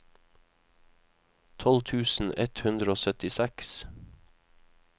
tolv tusen ett hundre og syttiseks